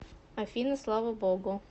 афина слава богу